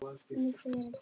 Ég fer ekki neitt.